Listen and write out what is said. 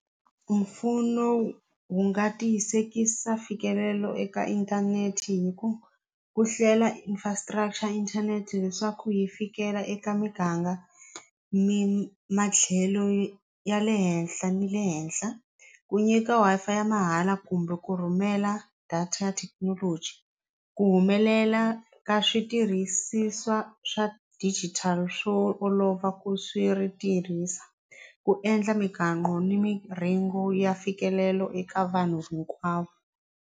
Mpfuno wu nga tiyisekisa mfikelelo eka inthanete hi ku ku hlela infrastructure inthanete leswaku hi fikela eka miganga mi matlhelo ya le henhla ni le henhla ku nyika Wi-Fi ya mahala kumbe ku rhumela data ya thekinoloji ku humelela ka switirhisiwa swa digital swo olova ku swi ri tirhisa ku endla ni miringo ya mfikelelo eka vanhu hinkwavo.